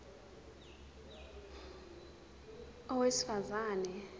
a owesifaz ane